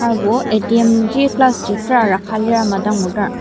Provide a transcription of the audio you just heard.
serbo atm ji glass ji tera rakhalir ama dang ngudar.